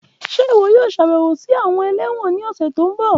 Ṣe iwọ yoo ṣabẹwo si awọn élẹ́wọ̀n ni ọsẹ ti n bọ?